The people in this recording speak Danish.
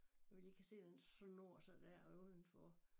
Hvor vi lige kan se den snor sig dér udenfor